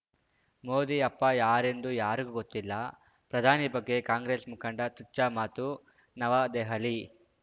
ಮೋದಿ ಅಪ್ಪ ಯಾರೆಂದು ಯಾರಿಗೂ ಗೊತ್ತಿಲ್ಲ ಪ್ರಧಾನಿ ಬಗ್ಗೆ ಕಾಂಗ್ರೆಸ್‌ ಮುಖಂಡ ತುಚ್ಛ ಮಾತು ನವದೆಹಲಿ